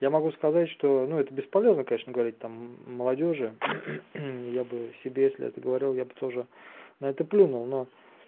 я могу сказать что ну это бесполезно конечно говорить там молодёжи я бы себе если это говорил я бы тоже на это плюнул но